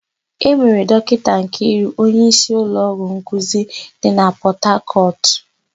E mere Dọkịta Nkiru onyeísí ụlọọgwụ nkuzi dị na Pọtakọtụ.